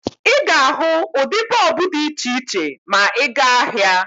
Ị ga-ahụ ụdị bọọbụ dị iche iche ma ị gaa n'ahịa